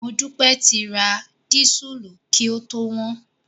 Modúpẹ́ ti ra dísùlù kí ó tó wọ́n.